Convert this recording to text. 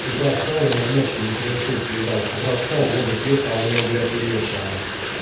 с утра встал а у него ночью микроинсульт въебал с утра встал воду пьёт а у него блять льётся она